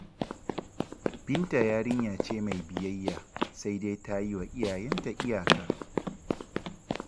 Binta yarinya ce mai biyayya, sai dai ta yi wa iyayenta iyaka.